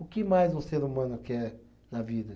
O que mais um ser humano quer na vida?